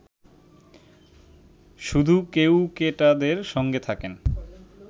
শুধু কেউকেটাদের সঙ্গে থাকেন